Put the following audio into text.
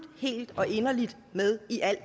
helt og inderligt med i alt